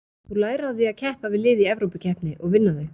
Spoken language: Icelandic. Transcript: Þú lærir á því að keppa við lið í Evrópukeppni og vinna þau.